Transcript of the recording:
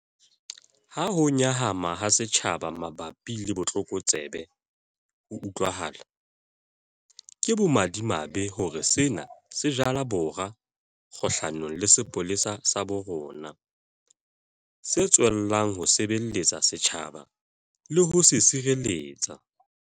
Ha ho nyahama ha setjhaba mabapi le botlokotsebe ho utlwahala, ke bomadimabe hore sena se jala bora kgahlanong le sepolesa sa bo rona, se tswellang ho sebeletsa setjhaba le ho se sireletsa.